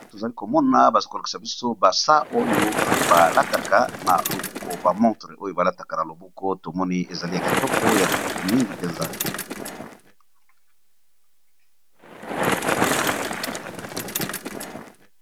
Tozali komona baza kolokisa biso basa oyo balataka na loboko, bamontre oyo balataka na loboko, tomoni ezali ya kitoko ya kitoko mingi mpenza.